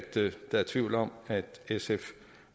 der er tvivl om at sf